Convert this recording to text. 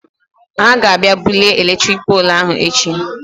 He ga abịa bulie eletrik poolụ ahụ echi.